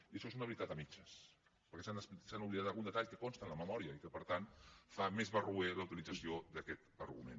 i això és una veritat a mitges perquè s’han oblidat algun detall que consta en la memòria i que per tant fa més barroera la utilització d’aquest argument